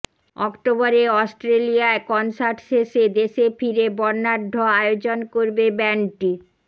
অক্টোবরে অস্ট্রেলিয়ায় কনসার্ট শেষে দেশে ফিরে বর্ণাঢ্য আয়োজন করবে ব্যান্ডটি